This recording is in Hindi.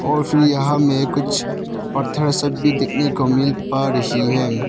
और फिर यहां में कुछ पत्थर सब भी देखने को मिल पा रही है।